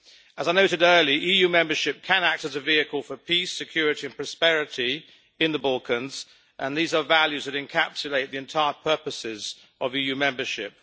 As I noted earlier, EU membership can act as a vehicle for peace, security and prosperity in the Balkans, and these are values that encapsulate the entire purposes of EU membership.